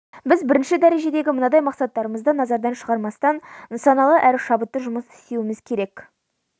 біз бірінші дәрежедегі мынадай мақсаттарымызды назардан шығармастан нысаналы әрі шабытты жұмыс істеуіміз керек